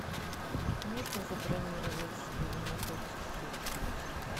можно забронировать стол на пять часов вечера